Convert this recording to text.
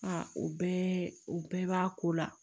o bɛɛ o bɛɛ b'a ko la